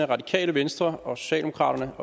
radikale venstre og socialdemokraterne